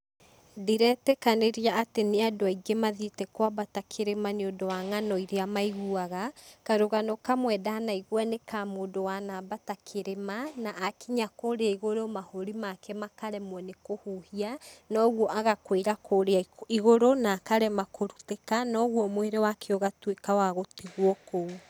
Ndiretĩkanĩria atĩ nĩ andũ aingĩ mathiĩte kwambata kĩrĩma nĩ ũndũ wa ng'ano iria maiguaga. Karũgano kamwe ndanaigua nĩ ka mũndũ wana ambata kĩrĩma na akinya kũría igũrũ mahũri make makaremwo nĩ kũhuhia na ũguo agakuĩra kũría igũrũ na akarema kũrutĩka na ũguo mwĩrĩ wake ugatuĩka wa gũtigwo kũu.